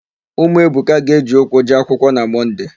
Ụmụ Ebuka ga-eji ụkwụ jee akwựkwọ na Mọnde.